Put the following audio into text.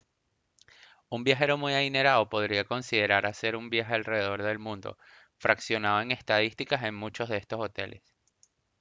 un viajero muy adinerado podría considerar hacer un viaje alrededor del mundo fraccionado en estadías en muchos de estos hoteles